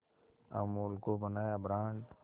अमूल को बनाया ब्रांड